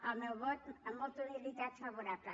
el meu vot amb molta humilitat favorable